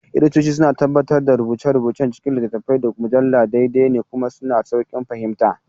Editoci suna tabbatar da rubuce-rubucen cikin littattafai, da mujallu daidai ne kuma suna da sauƙin fahimta.